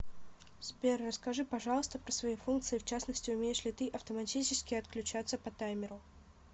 сбер расскажи пожалуйста про свои функции в частности умеешь ли ты автоматически отключаться по таймеру